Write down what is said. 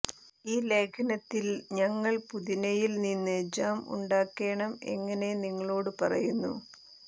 ഈ ലേഖനത്തിൽ ഞങ്ങൾ പുതിനയിൽ നിന്ന് ജാം ഉണ്ടാക്കേണം എങ്ങനെ നിങ്ങളോടു പറയുന്നു